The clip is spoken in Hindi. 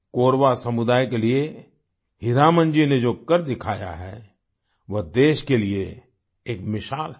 कोरवा समुदाय के लिए हीरामन जी ने जो कर दिखाया है वह देश के लिए एक मिसाल है